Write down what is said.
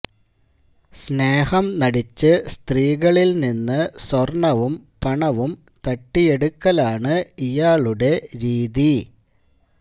സ്നേഹം നടിച്ച് സ്ത്രീകളിൽ നിന്ന് സ്വർണവും പണവും തട്ടിയെടുക്കലാണ് ഇയാളുടെ രീതി